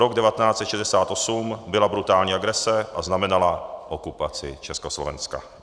Rok 1968 byla brutální agrese a znamenala okupaci Československa."